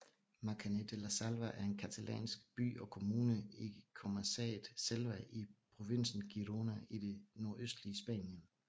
Maçanet de la Selva er en catalansk by og kommune i comarcaet Selva i provinsen Girona i det nordøstlige Spanien